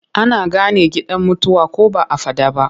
Ana gane gidan mutuwa ko ba a faɗa ba.